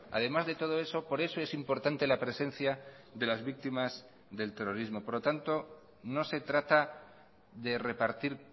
además de todo eso por eso es importante la presencia de las víctimas del terrorismo por lo tanto no se trata de repartir